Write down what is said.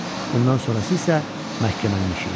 Bundan sonrası isə məhkəmənin işi idi.